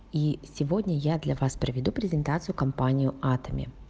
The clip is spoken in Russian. и сегодня я для вас проведу презентацию компанию атоме